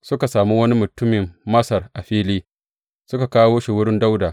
Suka sami wani mutumin Masar a fili suka kawo shi wurin Dawuda.